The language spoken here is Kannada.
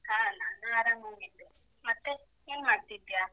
ಹಾ, ನಾನೂ ಆರಾಮಾಗಿದ್ದೆ, ಮತ್ತೆ ಏನ್ ಮಾಡ್ತಿದ್ದಿಯಾ?